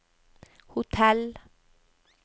hotell